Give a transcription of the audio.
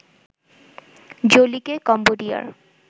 জোলিকে কম্বোডিয়ার